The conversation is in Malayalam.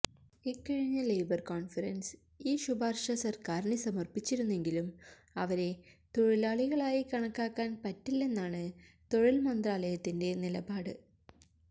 ഇക്കഴിഞ്ഞ ലേബര് കോണ്ഫറന്സ് ഈ ശുപാര്ശ സര്ക്കാറിന് സമര്പ്പിച്ചിരുന്നെങ്കിലും അവരെ തൊഴിലാളികളായി കണക്കാക്കാന് പറ്റില്ലെന്നാണ് തൊഴില്മന്ത്രാലയത്തിന്റെ നിലപാട്